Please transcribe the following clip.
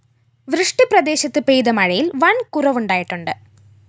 വൃഷ്ടിപ്രദേശത്ത് പെയ്ത മഴയില്‍ വന്‍കുറവുണ്ടായിട്ടുണ്ട്